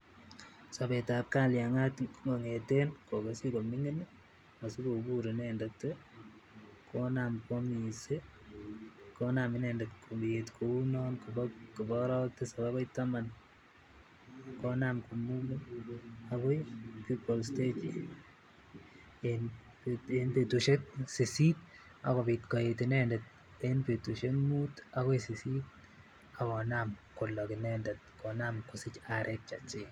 Sobet ab kalyangaat kongeten kokokisuj komingin asikobur inendet ii konam koomis ii konam inendet koet kouu non kobo orowek tisap akoi taman ii konam komogit akoii buble stage en petusiek sisit ak kopit koet inendet betusiek mut ako sisit ak konam kolok inendet kosij arek chechik.